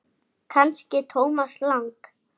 Fékk aldrei nein skýr svör.